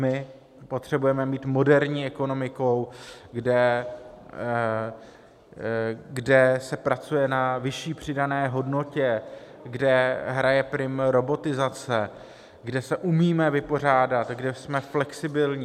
My potřebujeme mít moderní ekonomiku, kde se pracuje na vyšší přidané hodnotě, kde hraje prim robotizace, kde se umíme vypořádat, kde jsme flexibilní.